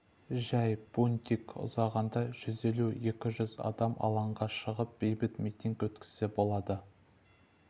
жәй бунтик ұзағанда жүз елу-екі жүз адам алаңға шығып бейбіт митинг өткізсе болды